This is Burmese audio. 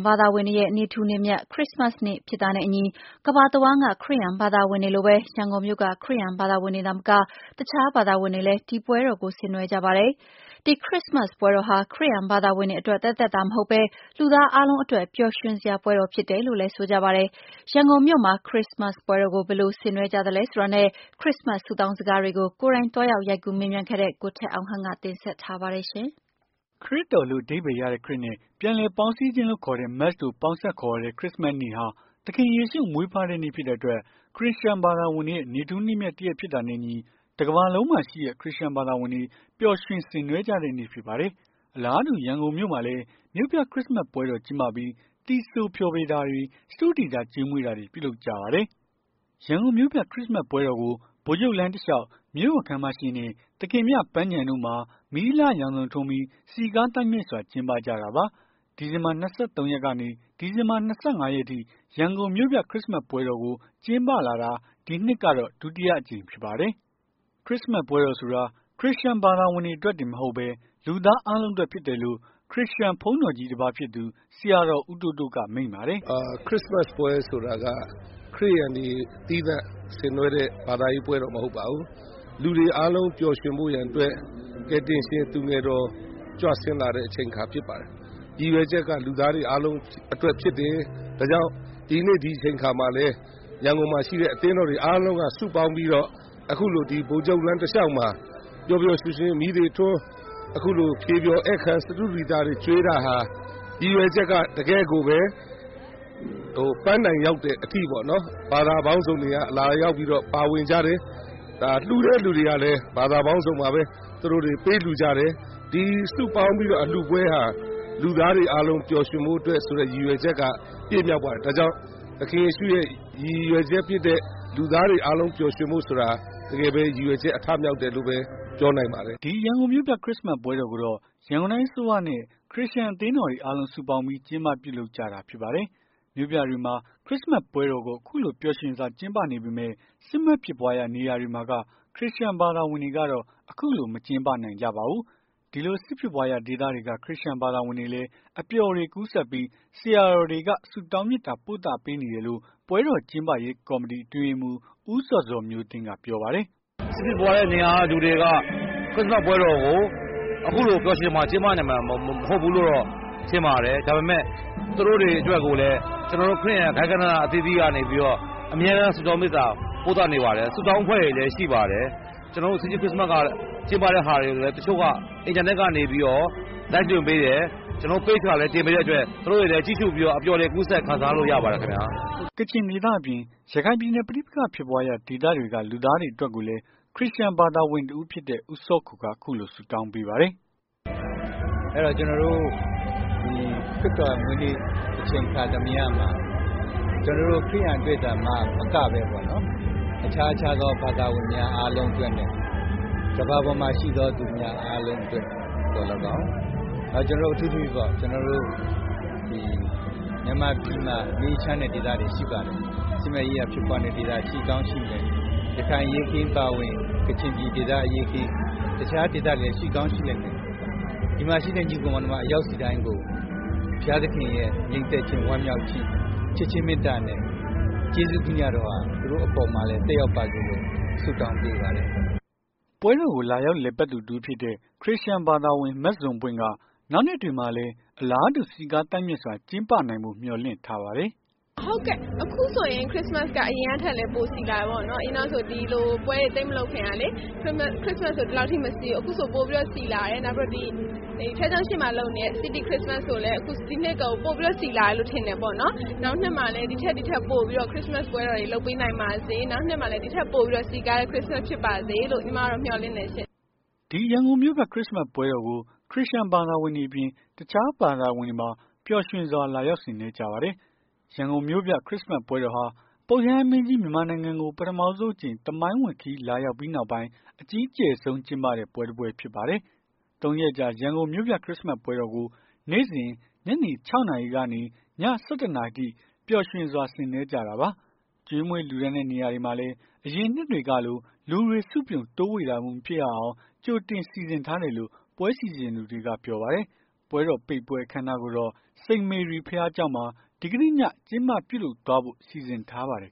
ဘာသာဝင်တွေရဲ့ နေ့ထူးနေ့မြတ် ခရစ္စမတ်နေ့ဖြစ်တာနဲ့အညီ ကမ္ဘာတဝန်းက ခရစ်ယာန်ဘာသာ ဝင်တွေလိုပဲ ရန်ကုန်မြို့က ခရစ်ယာန်ဘာသာဝင်တွေသာမက တခြားဘာသာဝင်တွေလည်း ဒီပွဲတော်ကို ဆင်နွှဲကြပါတယ်။ ဒီ ခရစ္စမတ်စ်ပွဲတော်ဟာ ခရစ်ယာန်ဘာသာဝင်တွေအတွက် သက်သက်သာမဟုတ်ဘဲ လူသားအားလုံးအတွက် ပျော်ရွှင်စရာ ပွဲတော် ဖြစ်တယ်လို့လည်း ဆိုကြပါတယ်။ ရန်ကုန်မြို့မှာ ခရစ္စမတ်စ်ပွဲတော်ကို ဘယ်လိုဆင်နွှဲကြသလဲဆိုတာနဲ့ ခရစ္စမတ်စ် ဆုတောင်းစကားတွေကို ကိုယ်တိုင် သွားရောက် ရိုက်ကူး မေးမြန်းခဲ့တဲ့ ကိုထက်အောင်ခန့်က တင်ဆက်ထားပါတယ်။ ခရစ်တော်လို့ အဓိပ္ပါယ်ရတဲ့ Christ နဲ့ ပြန်လည်ပေါင်းစည်းခြင်းလို့ခေါ်တဲ့ Mass တို့ကို ပေါင်းစပ် ခေါ်ဝေါ်တဲ့ ခရစ်စမတ်စ်နေ့ဟာ သခင်ယေရှုမွေးဖွားတဲ့နေ့ဖြစ်တဲ့အတွက် ခရစ်ယာန်ဘာသာဝင်တွေရဲ့ နေ့ထူးနေ့မြတ်တရက်ဖြစ်တာနဲ့အညီ တမ္ဘာလုံးမှာရှိတဲ့ ခရစ်ယာန်ဘာသာဝင်တွေပျော်ရွှင် ဆင်နွှဲကြတဲ့နေ့ဖြစ်ပါတယ်။ အလားတူ ရန်ကုန်မြို့မှာလည်း မြို့ပြခရစ်စမတ်စ်ပွဲတော် ကျင်းပ ပြီး သီဆိုဖျော်တာတွေ၊ စတုဒီသာ ကျွေးမွေးတာတွေ ပြုလုပ်ကြပါတယ်။ ရန်ကုန်မြို့ပြ ခရစ်စမတ်ပွဲတော်ကို ဗိုလ်ချုပ်လမ်းတလျောက် မြို့တော် ခန်းမရှေ့နဲ့ သခင်မြ ပန်းခြံ တို့မှာ မီးအလှရောင်စုံထွန်းပြီး စည်ကား သိုက်မြိုက်စွာ ကျင်းပကြတာပါ။ ဒီဇင်ဘာ ၂၃ ရက်ကနေ ဒီဇင်ဘာ ၂၅ ရက်အထိ ရန်ကုန်မြို့ပြ ခရစ်စမတ်ပွဲတော်ကို ကျင်းပလာတာ ဒီနှစ်ကတော့ ဒုတိယအကြိမ်ဖြစ်ပါတယ်။ ခရစ်စမတ်ပွဲတော်ဆိုတာ ခရစ်ယာန်ဘာသာဝင်တွေအတွက်တင်မဟုတ်ဘဲ လူသားအားလုံးအတွက် ဖြစ်တယ်လို့ ခရစ်ယာန် ဘုန်းတော်ကြီးတပါးဖြစ်သူ ဆရာတော် ဦးတိုးတိုးကမိန့်ပါတယ်။ "ခရစ်စမတ်ပွဲဆိုတာက ခရစ်ယာန်တွေ သီးသန့်ဆင်နွှဲတဲ့ ဘာသာရေးပွဲမဟုတ်ပါဘူး။ လူတွေ အားလုံး ပျော်ရွှင်ဖို့ရန်အတွက် ကယ်တင်ရှင် သူငယ်တော် ကြွဆင်းလာတဲ့ အချိန်အခါဖြစ်ပါတယ်။ ရည်ရွယ်ချက်က လူသားတွေအားလုံးအတွက်ဖြစ်တယ်။ ဒါကြောင့် ဒီနေ့ဒီအချိန်အခါမှာလည်း ရန်ကုန် မှာရှိတဲ့ အသင်းတော်တွေအားလုံးက စုပေါင်းပြီးတော့ အခုလိုဗိုလ်ချုပ်လမ်းတလျောက်မှာ ပျော်ပျော် ရွှင်ရွှင်မီးတွေထွန်း အခုလို ဖြေဖျော်ဧည့်ခံ စတုဒီတာတွေ ကျွေးတာဟာ ရည်ရွယ်ချက်က တကယ့်ကိုပဲ ပန်းတိုင်ရောက်တဲ့အထိပေါ့နော် ဘာသာပေါင်းစုံတွေက ပါဝင်ကြတယ်။ လှူတဲ့သူတွေ ကလည်း ဘာသာပေါင်းစုံပါပဲ သူတို့တွေ ပေးလှူကြတယ်။ ဒီစုပေါင်းပြီးတော့ အလှူပွဲဟာ လူသားတွေ အားလုံးပျော်ရွှင်ဖို့အတွက် ရည်ရွယ်ချက်က ပြည့်မြောက်ပါတယ်။ ဒါကြောင့် သခင်ယေရှုရဲ့ ရည်ရွယ် ချက်ဖြစ်တဲ့ လူသားတွေအားလုံး ပျော်ရွှင်ဖို့ဆိုတာ တကယ်ပဲရည်ရွယ်ချက် အထမြောက်တယ်လို့ပဲ ပြောနိုင်ပါတယ်။" ဒီရန်ကုန်မြို့ပြ ခရစ်စမတ်ပွဲတော်ကိုတော့ ရန်ကုန်တိုင်းအစိုးရနဲ့ ခရစ်ယာန် အသင်းတော်တွေ အားလုံး စုပေါင်းပြီး ကျင်းပပြုလုပ်ကြတာဖြစ်ပါတယ်။ မြို့ပြတွေမှာ ခရစ်စမတ်ပွဲတော်ကို အခုလိုပျော်ရွှင်စွာကျင်းပနေပေမယ့် စစ်မက်ဖြစ်ပွားရာနေရာတွေမှာက ခရစ်ယာန် ဘာသာဝင်တွေကတော့ အခုလို မကျင်းပနိုင်ကြပါဘူး။ ဒီလို စစ်ဖြစ်ပွားရာ ဒေသတွေက ခရစ်ယာန် ဘာသာဝင်တွေလည်း အပျော်တွေ ကူးစက်ပြီး ဆရာတော်တွေက ဆုတောင်းမေတ္တာ ပို့သပေးနေတယ်လို့ ပွဲတော်ကျင်းပရေး ကော်မတီ အတွင်းရေးမှူး ဦးဇော်ဇော်မျိုးသိန်းက ပြောပါတယ်။ “စစ်ဖြစ်ပွားနေတဲ့ နေရာတွေက လူတွေက ခရစ်စမတ်ပွဲတော်ကို အခုလို ပျော်ရွှင်စွာ ကျင်းပ နိုင်မှာမဟုတ်ဘူးလို့ထင်ပါတယ်။ ဒါပေမယ့် သူတို့တွေအတွက် ခရစ်ယာန် ဂိုဏ်းအသီးသီးက နေလည်း အမြဲတမ်း စုတောင်းမေတ္တာပို့သနေပါတယ်။ ဆုတောင်းအဖွဲ့တွေလည်း ရှိပါတယ်။ကျွန်တော်တို့ စီးတီးခရစ်စမတ်ပွဲကဟာတွေကို တချို့က အင်တာနက်ကနေပြီးတော့ Live လွှင့်ပေးတယ် ကျွန်တော်တို့Page ကလည်း တင်ပေးတဲ့အတွက် သူတို့တွေလည်း ကြည့်ရှူပြီး အပျော်တွေ ကူးစက် ခံစားလို့ရပါတယ်ခင်ဗျာ။” ကချင်ဒေသအပြင် ရခိုင်ပြည်နယ် ပဋိပက္ခဖြစ်ပွားရာ ဒေသတွေက လူသားတွေအတွက်ကိုလည်း ခရစ်ယာန်ဘာသာဝင် တစ်ဦးဖြစ်တဲ့ ဦးစောခူက အခုလိုဆုတောင်းပေးပါတယ်။ “ကျွန်တော်တို့ ခရစ်တော်မွေးနေ့မှာ အချိန်အခါသမယမှာ ကျွန်တော်တို့ ခရစ်ယာန်တွေ အတွက်သာ မကဘဲ အခြားခြားသော ဘာသာဝင်များ အားလုံးနဲ့ ကမ္ဘာပေါ်မှာ ရှိသော သူများအားလုံးအတွက်သော်လည်းကောင်း ကျွန်တော်တို့ အထူးသဖြင့်ပေါ့ ကျွန်တော်တို့ဒီ မြန်မာပြည်မှာ မငြိမ်းချမ်းတဲ့ ဒေသတွေရှိပါတယ်။ စစ်မက်ရေးရာ ဖြစ်ပွား နေတဲ့ ဒေသတွေ ရှိကောင်းရှိမယ်။ ရခိုင်အရေးအခင်းအပါအဝင် ကချင်ပြည်နှယ်အရေးခင်း တခြားဒေသတွေလည်း ရှိကောင်းရှိလိမ့်မယ်။ ဒီမှာရှိတဲ့ ညီအကိုမောင်နှမ တယောက်ဆီတိုင်း ကို ဘုရားသခင်ရဲ့ ငြိမ်သက်ခြင်းဝမ်းမြောက်ခြင်း ချစ်ခင်မေတ္တာနဲ့ ကျေးဇူးတရားတော်ဟာ သူတို့အပေါ်မှာလည်း ဆုတောင်းပေးပါတယ်။” ပွဲတော်ကို လာရောက်လည်ပတ်သူ တဦးဖြစ်တဲ့ ခရစ်ယာန်ဘာသာဝင် မဇွန်ပွင့်က နောက်နှစ်တွေမှာလည်း အလားတူ စည်းကားသိုက်မြိုက်စွာ ကျင်းပနိုင်ဖို့ မျှော်လင့်ထားပါတယ်။ “အခုဆိုရင် ခရစ်စမတ်က အရင်ကထက်လည်းပိုစည်လာတယ်ပေါ့နော်။ အရင်ကဒီလိုပွဲတွေ သိပ်မလုပ်ခင်ကလေ ခရစ်စမတ်ဆို ဒီလောက်ထိမစည်ဘူးလေ အခုဆို ခရစ်စမတ်ဆို ပိုပြီး စည်ကားလာတယ်။ ဘုရားကျောင်းရှေ့မှာ လုပ်နေတဲ့ စီးတီးခရစ်စမတ်ဆိုရင်လည်း ဒီနှစ်ဆို ပိုပြီးစည်လာတယ်လို့ထင်တယ်။ နောက်နှစ်တွေမှာ ဒီထက်ပိုပြီးတော့ ခရစ်စမတ်ပွဲတော်တွေ လုပ်ပေးနိုင်ပါစေ။ နောက်နှစ်မှာလည်း ဒီထက်စည်ကားတဲ့ ခရစ်စမတ်ဖြစ်ပါစေလို့ ညီမက မျှော်လင့်တယ်ရှင့်” ဒီရန်ကုန်မြို့ပြ ခရစ်မတ်ပွဲတော်ကို ခရစ်ယာန်ဘာသာဝင်တွေအပြင် တခြားဘာသာဝင်တွေပါ ပျော်ရွှင်စွာ လာရောက်ဆင်နွှဲကြပါတယ်။ မြို့ပြခရစ်စမတ်ပွဲဟာ ပုပ်ရဟန်းမင်းကြီး မြန်မာနိုင်ငံ ကို ပထမဆုံး အကြိမ် သမိုင်းဝင်ခရီး လာရောက်ပြီးနောက်ပိုင်း အကြီးကျယ်ဆုံး ကျင်းပတဲ့ ပွဲတပွဲဖြစ်ပါတယ်။ သုံးရက်ကြာ ရန်ကုန်မြို့ပြ ခရစ်စမတ်ပွဲတော်ကို နေ့စဉ် ညနေ ၆ နာရီကနေ ည ၁၁ နာရီအထိ ပျော်ရွှင် ဆင်နွှဲကြတာပါ။ ကျွေးမွေး လှူဒါန်းတဲ့နေရာတွေမှာ အရင်နှစ်တွေကလို လူတွေ စုပြုံ တိုးဝှေ့တာမျိုးမဖြစ်ရအောင် ကြိုတင်စီစဉ်ထားတယ်လို့ ပွဲစီစဉ်သူတွေကပြောပါတယ်။ ပွဲတော်ပိတ်ပွဲအခမ်းအနားကိုတော့ စိန်မေရီဘုရားကျောင်းမှာ ဒီကနေ့ည ကျင်းပပြုလုပ်သွားဖို့ စီစဉ်ထားပါတယ်